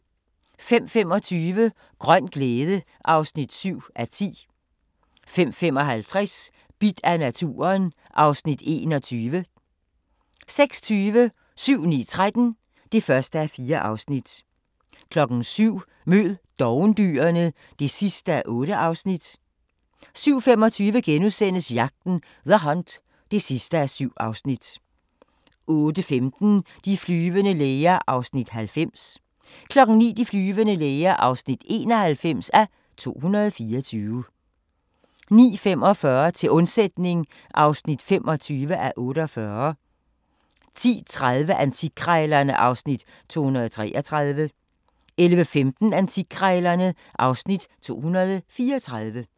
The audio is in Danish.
05:25: Grøn glæde (7:10) 05:55: Bidt af naturen (Afs. 21) 06:20: 7-9-13 (1:4) 07:00: Mød dovendyrene (8:8) 07:25: Jagten – The Hunt (7:7)* 08:15: De flyvende læger (90:224) 09:00: De flyvende læger (91:224) 09:45: Til undsætning (25:48) 10:30: Antikkrejlerne (Afs. 233) 11:15: Antikkrejlerne (Afs. 234)